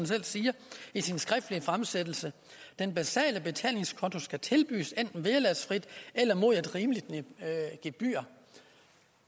selv siger i sin skriftlige fremsættelse at den basale betalingskonto skal tilbydes enten vederlagsfrit eller mod et rimeligt gebyr